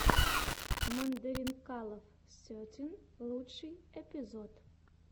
мандаринкалов сетин лучший эпизод